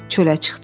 Çölə çıxdı.